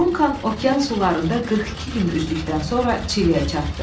Duncan okean sularında 42 gün üzdükdən sonra Çiliyə çatdı.